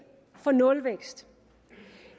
for nulvækst